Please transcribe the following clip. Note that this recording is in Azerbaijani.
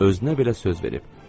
Özünə belə söz verib.